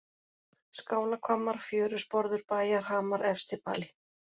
Skálahvammar, Fjörusporður, Bæjarhamar, Efstibali